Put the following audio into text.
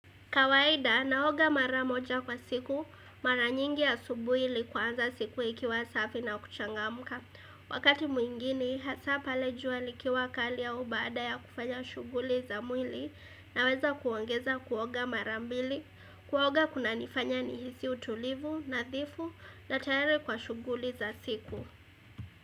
Kawaida, naoga mara moja kwa siku, mara nyingi asubuhi ili kuanza siku ikiwa safi na kuchangamka. Wakati mwingine, hasa pale jua likiwa kali au baada ya kufanya shughuli za mwili na weza kuongeza kuoga mara mbili. Kuoga kuna nifanya ni hizi utulivu, nadhifu na tayari kwa shuguli za siku.